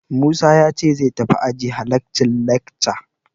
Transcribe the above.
Musa ya ce zai tafi aji ya halacci lekca.